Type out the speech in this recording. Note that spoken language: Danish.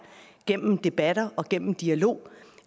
gennem debatter og gennem dialog